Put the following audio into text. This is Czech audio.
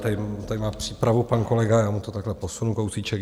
Tady má přípravu pan kolega , já mu to takhle posunu kousíček.